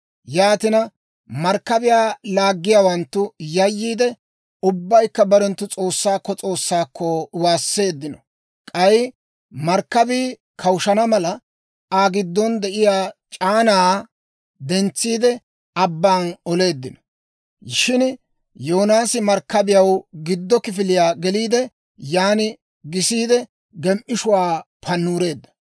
Yaatina, markkabiyaa laaggiyaawanttu yayyiide, ubbaykka barenttu s'oossaakko s'oossaakko waasseeddino. K'ay markkabii kawushana mala, Aa giddon de'iyaa c'aanaa dentsiide, abban oleeddino. Shin Yoonaasi markkabiyaw giddo kifiliyaa geliide, yan gisiide, gem"ishuwa pannureedda.